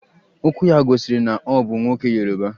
Okwu ya gosiri na o bu nwoke yoruba